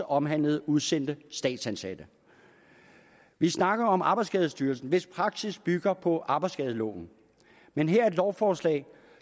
omhandle udsendte statsansatte vi snakker om arbejdsskadestyrelsen hvis praksis bygger på arbejdsskadeloven men her er et lovforslag